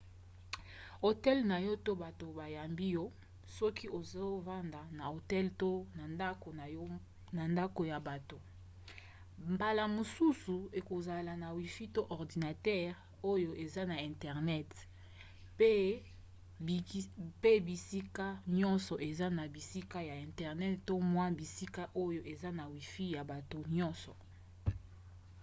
hotel na yo to bato bayambi yo soki ozofanda na hotel to na ndako ya bato mbala mosusu ekozala na wifi to ordinatere oyo eza na internet pe bisika nyonso eza na bisika ya internet to mwa bisika oyo eza na wifi ya bato nyonso